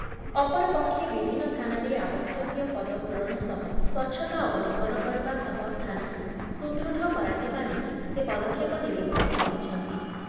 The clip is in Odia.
ଅପରପକ୍ଷେ ବିଭିନ୍ନ ଥାନାରେ ଆବଶ୍ୟକୀୟ ପଦ ପୂରଣ ସହ ସ୍ଵଚ୍ଛତା ଅବଲମ୍ବନ କରିବା ସହ ଥାନାକୁ ସୁଦୃଢ଼ କରାଯିବା ନେଇ ସେ ପଦକ୍ଷେପ ନେବେ ବୋଲି କହିଛନ୍ତି ।